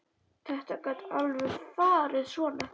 Þetta gat alveg farið svona.